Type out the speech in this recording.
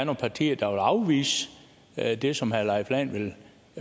partier der vil afvise det som herre leif lahn jensen